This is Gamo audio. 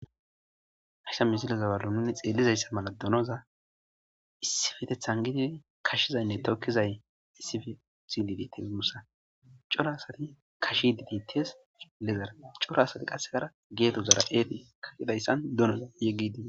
asha misila zawalo nuni xeellizayssa mala donoza issifetethan gitii kashshizaynne tokkizay issife xilidite musa cora asati kashididittes lezara cora asati qassekara geetozara7eeri kashidayssan donoza yeggidiii